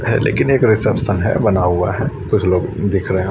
है लेकिन एक रिसेप्शन है बना हुआ है कुछ लोग दिख रहे हैं।